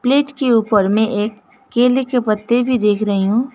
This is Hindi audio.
प्लेट के ऊपर में एक केले के पत्ते भी देख रही हूं।